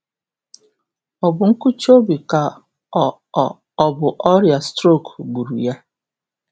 Ọ bụ nkụchi obi ka ọ ọ bụ ọrịa strok gburu ya?